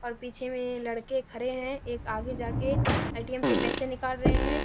और पीछे में लड़के खरे हैं एक आगे जाके ए.टी.एम. से पैसे निकाल रहे हैं।